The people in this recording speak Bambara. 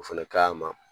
O fɛnɛ ka ɲi a ma